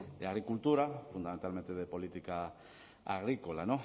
de agricultura fundamentalmente de política agrícola